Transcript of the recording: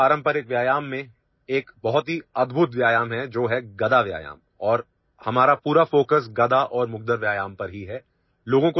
পৰম্পৰাগত ভাৰতীয় শৰীৰ চৰ্চাত গদাব্যায়াম নামৰ এক অতি বিচিত্ৰ ব্যায়াম আছে আৰু আমাৰ সমগ্ৰ মনোযোগ গদা আৰু মুগুৰ ব্যায়ামৰ ওপৰত